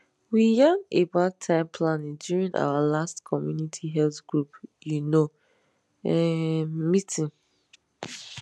we yan about time planning during our last community health group you know um meeting